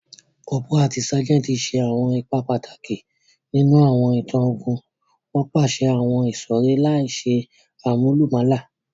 Cọ́póra ati ságẹntì ṣe awọn ipa pataki ninu awọn itan ogun, won paṣẹ àwon ìsọ̀rí láìse àmúlùmálà